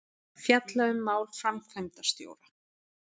Fjalla um mál framkvæmdastjóra